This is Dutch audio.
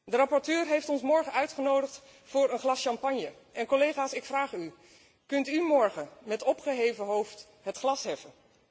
De rapporteur heeft ons morgen uitgenodigd voor een glas champagne en, collega's, ik vraag u kunt u morgen met opgeheven hoofd het glas heffen?